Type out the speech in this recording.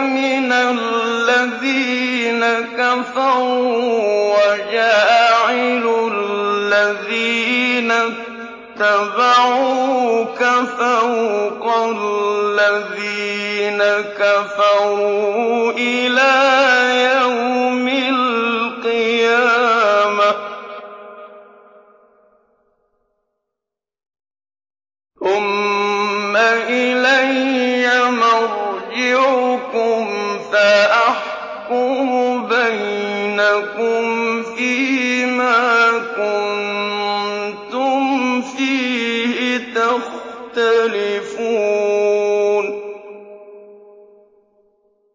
مِنَ الَّذِينَ كَفَرُوا وَجَاعِلُ الَّذِينَ اتَّبَعُوكَ فَوْقَ الَّذِينَ كَفَرُوا إِلَىٰ يَوْمِ الْقِيَامَةِ ۖ ثُمَّ إِلَيَّ مَرْجِعُكُمْ فَأَحْكُمُ بَيْنَكُمْ فِيمَا كُنتُمْ فِيهِ تَخْتَلِفُونَ